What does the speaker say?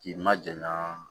K'i ma jɛn naa